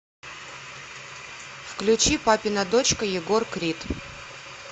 включи папина дочка егор крид